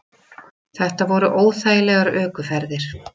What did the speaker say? Þetta voru óþægilegar ökuferðir.